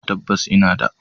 Tabbas! ina da